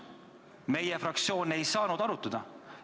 Meie fraktsioon ei saanud asja arutada.